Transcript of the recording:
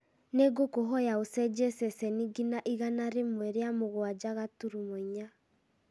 nĩ ngũkũhoya ũcenjie ceceni nginya igana rĩmwe rĩa mũgwanja gaturumo inya